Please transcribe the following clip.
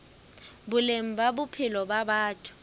boleng ba bophelo ba batho